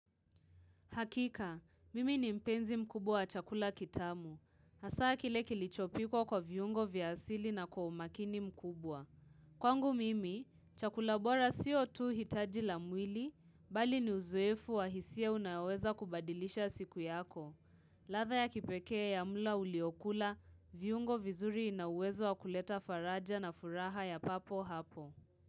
Hakika, mimi ni mpenzi mkubwa wa chakula kitamu. Hasa kile kilichopikwa kwa viungo vya asili na kwa umakini mkubwa. Kwangu mimi, chakula bora sio tu hitaji la mwili, bali ni uzuefu wa hisia unaoweza kubadilisha siku yako. Latha ya kipekea ya mla uliokula, viungo vizuri inauwezo wa kuleta faraja na furaha ya papo hapo.